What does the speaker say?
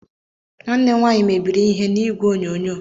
Nwanne m nwanyị mebiri ihe n'igwe onyonyo.